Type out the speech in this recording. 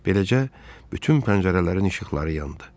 Beləcə, bütün pəncərələrin işıqları yandı.